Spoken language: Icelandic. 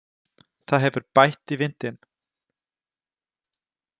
Það hefur bætt í vindinn.